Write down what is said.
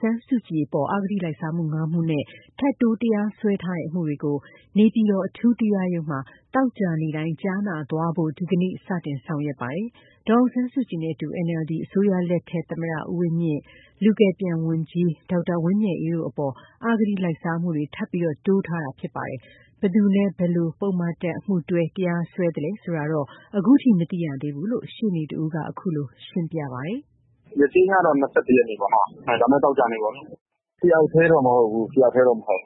ဆန်းစုကြည်အပေါ် အဂတိလိုက်စားမှု ၅ မှုနဲ့ ထပ်တိုးတရားစွဲထားတဲ့ အမှုတွေကို နေပြည်တော် အထူးတရားရုံးမှာ သောကြာနေ့တိုင်း ကြားနာသွားဖို့ ဒီနေ့ စတင်ဆောင်ရွက်ပါတယ်။ ဒေါ်အောင်ဆန်းစုကြည်နဲ့အတူ NLD အစိုးရလက်ထက် သမ္မတ ဦးဝင်းမြင့်၊ လူကယ်ပြန်ဝန်ကြီးဒေါက်တာဝင်းမြတ်အေးတို့အပေါ် အဂတိလိုက်စားမှုတွေ ထပ်တိုးထားတာဖြစ်ပါတယ်။ ဘယ်သူနဲ့ ဘယ်လို ပုဒ်မတပ် အမှုတွဲ တရားစွဲသလဲဆိုတာတော့ ခုထိမသိရသေးဘူးလို့ ရှေ့နေတဦးကခုလိုရှင်းပြပါ တယ်။ " ရက်ချိန်းကတော့ ၂၁ရက်နေ့ပေါ့။ တယောက်ထဲတော့မဟုတ်ဘူး။ ၃ယောက်ပါတဲ့အမှု ရှိ